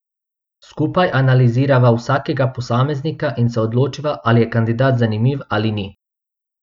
Skupaj analizirava vsakega posameznika in se odločiva, ali je kandidat zanimiv ali ni.